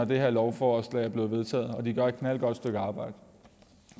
det her lovforslag bliver vedtaget de gør et knaldgodt stykke arbejde